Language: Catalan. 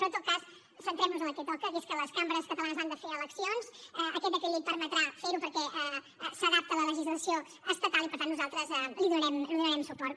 però en tot cas centrem nos en el que toca que és que les cambres catalanes han de fer eleccions aquest decret llei permetrà fer ho perquè s’adapta a la legislació estatal i per tant nosaltres li donarem suport